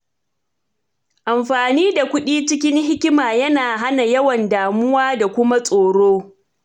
Amfani da kuɗi cikin hikima yana hana yawan damuwa da kuma tsoro.